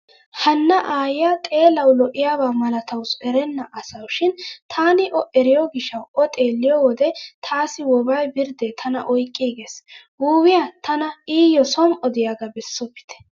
Hanna aayyiya xeelawu lo"iyaaba malatawusu erenna asawu shin taani o eriyo gishshawu o xeelliyo wode taassi woobay birddee tana oyqqiigees. Wuuwiya tana iyyo som"o diyagaa bessopite.